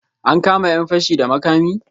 An kama 'yan fashi da makami?